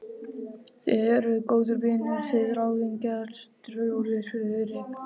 Þið eruð góðir vinir þið ráðningarstjóri, Friðrik